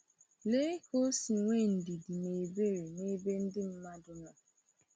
Lea ka o si nwee ndidi na ebere n’ebe ndị mmadụ nọ.